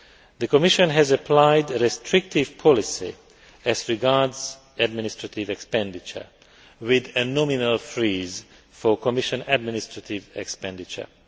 The Commission has applied a restrictive policy as regards administrative expenditure, with a nominal freeze for Commission administrative expenditure.